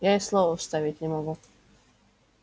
я и слова вставить не могу